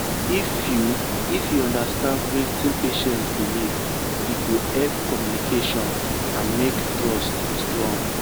if you if you understand wetin patient believe e go help communication and make trust strong.